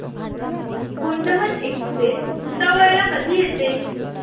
Gondwana express Bhusawal ला कधी येते